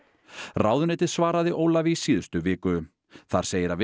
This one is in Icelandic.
ráðuneytið svaraði Ólafi í síðustu viku þar segir að